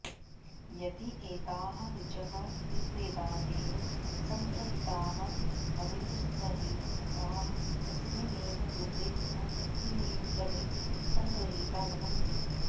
यदि एताः ऋचः ऋग्वेदादेव सङ्गृहीताः भवेयुस्तर्हि ताः तस्मिन्नेव रूपे तथा तस्मिन्नेव क्रमे सङ्गृहीता भवन्ति